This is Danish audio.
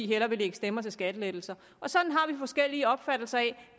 hellere lægge stemmer til skattelettelser og sådan har vi forskellige opfattelser af